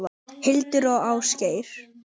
Hildur og Ásgeir.